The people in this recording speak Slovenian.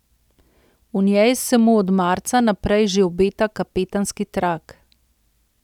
V njej se mu od marca naprej že obeta kapetanski trak.